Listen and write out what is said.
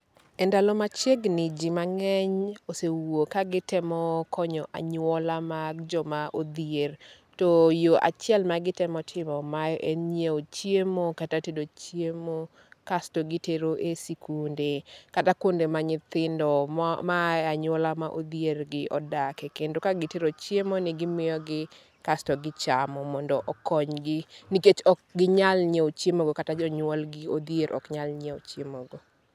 E ndalo machiegni, ji mang'eny osewuok ka gitemo konyo anyuola mag jo ma odhier. To yo achiel magitemo timo mae en ng'iewo chiemo kata tedo chiemo kasto gitero e sikunde, kata kuonde ma nyithindo maaye e anyaola ma odhier gi odake. Kendo ka gitero chiemo ni gimiyogi kasto gi chamo mondo okonygi. Nikech ok ginyal ng'iewo chiemo go kata jonyuol gi odhier oknyal ng'iewo chiemo go.